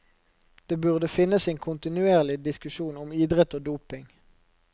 Det burde finnes en kontinuerlig diskusjon om idrett og doping.